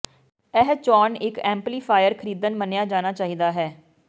ਇਹ ਚੋਣ ਇੱਕ ਐਮਪਲੀਫਾਇਰ ਖਰੀਦਣ ਮੰਨਿਆ ਜਾਣਾ ਚਾਹੀਦਾ ਹੈ